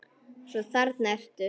Svo þarna ertu þá!